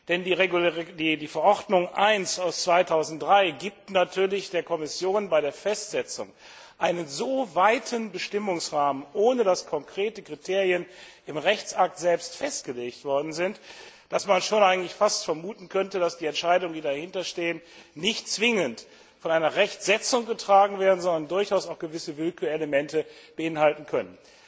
Denn die Verordnung 1 aus dem Jahr 2003 gibt natürlich der Kommission bei der Festsetzung einen so weiten Bestimmungsrahmen, ohne dass konkrete Kriterien im Rechtsakt selbst festgelegt worden sind, dass man schon fast vermuten könnte, dass die Entscheidungen, die dahinter stehen, nicht zwingend von einer Rechtsetzung getragen werden, sondern durchaus auch gewisse Willkürelemente beinhalten können.